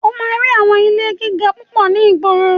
O máa rí àwọn ilé gíga púpọ̀ ní ìgboro.